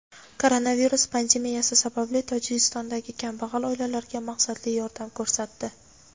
koronavirus pandemiyasi sababli Tojikistondagi kambag‘al oilalarga maqsadli yordam ko‘rsatdi.